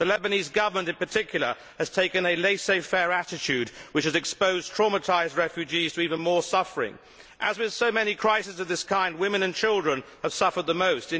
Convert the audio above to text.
The Lebanese Government, in particular, has taken a laissez faire attitude which has exposed traumatised refugees to even more suffering. As with so many crises of this kind, women and children have suffered the most.